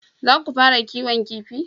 Za ku fara kiwon kifi?